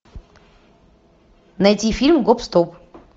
найти фильм гоп стоп